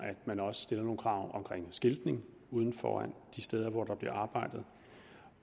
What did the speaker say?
man også stiller nogle krav om skiltning ude foran de steder hvor der bliver arbejdet